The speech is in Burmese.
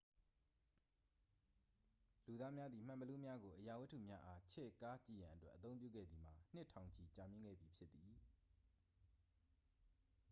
လူသာများသည် မှန်ဘီလူးများကို အရာဝတ္ထုများအား ချဲ့ကားကြည့်ရန်အတွက် အသုံးပြုခဲ့သည်မှာ နှစ်ထောင်ချီကြာမြှင့်ခဲ့ပြီဖြစ်သည်